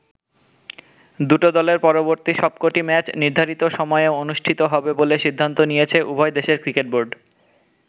দুটো দলের পরবর্তী সবকটি ম্যাচ নির্ধারিত সময়ে অনুষ্ঠিত হবে বলে সিদ্ধান্ত নিয়েছে উভয় দেশের ক্রিকেট বোর্ড।